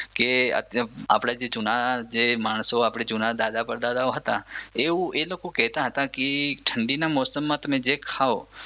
કે આપણા જે જૂના માણસો જે આપણે જૂના દાદાઓ પરદાદાઓ હતા એવું એ લોકો કેતા હતા ઠંડીના મોસમમાં તમે જે ખાવ કે